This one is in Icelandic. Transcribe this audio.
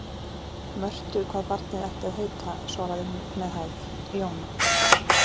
Mörtu hvað barnið ætti að heita, svaraði hún með hægð: Jóna.